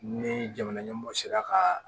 Ni jamana ɲɛmɔɔw sera ka